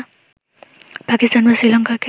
পাকিস্তান বা শ্রীলঙ্কাকে